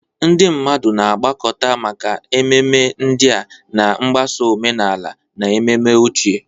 Ndị mmadụ na-agbakọta maka ememe ndị a, na-agbaso omenala na ememe ochie.